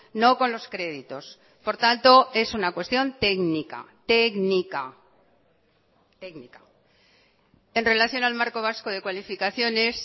no con los créditos por tanto es una cuestión técnica técnica técnica en relación al marco vasco de cualificaciones